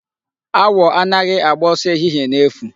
Awọ anaghị agba ọsọ ehihie n'efu.